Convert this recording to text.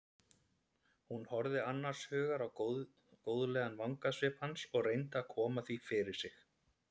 Hún horfði annars hugar á góðlegan vangasvip hans og reyndi að koma því fyrir sig.